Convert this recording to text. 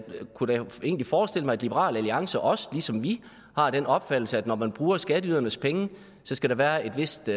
kunne da egentlig forestille mig at liberal alliance også ligesom vi har den opfattelse at når man bruger skatteydernes penge skal der være et vist